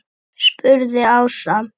spurði Ása.